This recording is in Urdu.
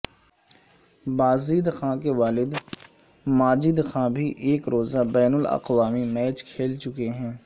بازید خان کے والد ماجد خان بھی ایک روزہ بین الاقوامی میچ کھیل چکے ہیں